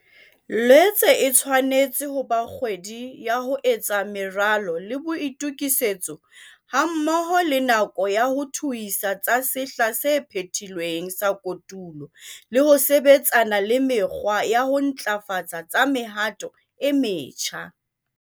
Loetse e tshwanetse ho ba kgwedi ya ho etsa meralo le boitokisetso hammoho le nako ya ho thuisa tsa sehla se phethilweng sa kotulo le ho sebetsana le mekgwa ya ho ntlafatsa tsa mehato e metjha.